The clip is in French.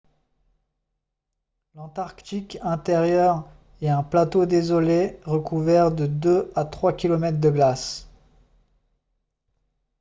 l'antarctique intérieur est un plateau désolé recouvert de 2 à 3 km de glace